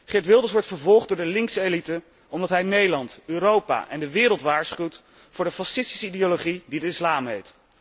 Geert Wilders wordt vervolgd door de linkse elite omdat hij Nederland, Europa en de wereld waarschuwt voor de fascistische ideologie, die de islam heet.